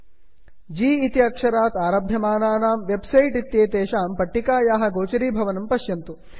g जि इति अक्षरात् आरभ्यमानानां वेब् सैट् इत्येतेषां सूची दृश्यते